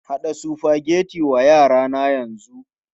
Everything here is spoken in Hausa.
Haɗa Sufageti wa yara na yanzu!